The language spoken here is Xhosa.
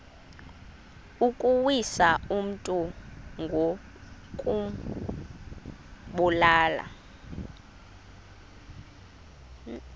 ukuwisa umntu ngokumbulala